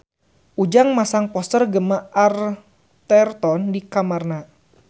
Ujang masang poster Gemma Arterton di kamarna